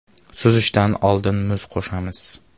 Suzishdan oldin muz qo‘shamiz.